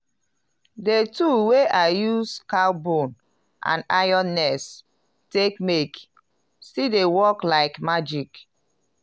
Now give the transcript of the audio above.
de tool wey i use cow bone and iron nails take make still dey work like magic.